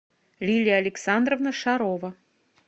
лилия александровна шарова